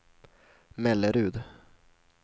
Mellerud